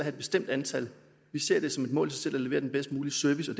et bestemt antal vi ser det som et mål selv at levere den bedst mulige service